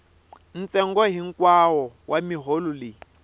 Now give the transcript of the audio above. ntsengo hikwawo wa miholo leyi